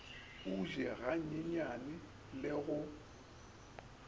o je ganyenyane le go